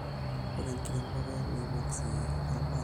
Ore enkiremore neibung sii olmarei